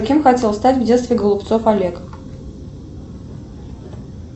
кем хотел стать в детстве голубцов олег